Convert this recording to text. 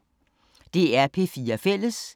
DR P4 Fælles